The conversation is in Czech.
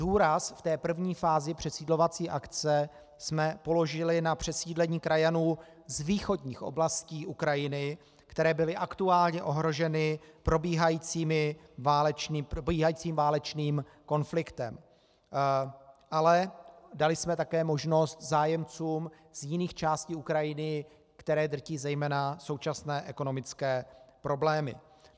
Důraz v té první fázi přesídlovací akce jsme položili na přesídlení krajanů z východních oblastí Ukrajiny, které byly aktuálně ohroženy probíhajícím válečným konfliktem, ale dali jsme také možnost zájemcům z jiných částí Ukrajiny, které drtí zejména současné ekonomické problémy.